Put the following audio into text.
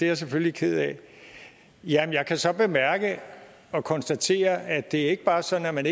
jeg selvfølgelig ked af jeg kan så bemærke og konstatere at det ikke bare er sådan at man